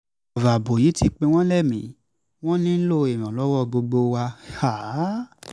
ọ̀rọ̀ ààbò yìí ti pin wọ́n lémi-ín wọn nílò ìrànlọ́wọ́ gbogbo wa um